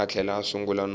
a tlhela a sungula no